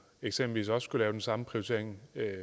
eksempelvis skulle foretage den samme prioritering